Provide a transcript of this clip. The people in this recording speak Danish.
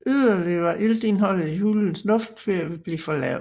Yderligere var iltindholdet i hulens luft ved at blive for lavt